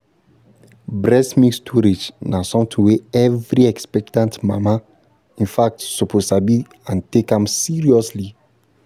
breast milk storage na something wey every expectant mama in fact suppose sabi and take am seriously